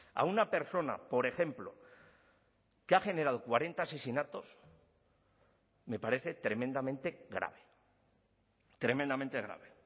a una persona por ejemplo que ha generado cuarenta asesinatos me parece tremendamente grave tremendamente grave